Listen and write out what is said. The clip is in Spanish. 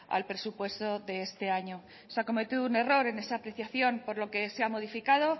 al presupuesto de este año se ha cometido un error en esa apreciación por lo que se ha modificado